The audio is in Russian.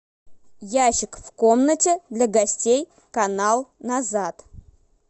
ящик в комнате для гостей канал назад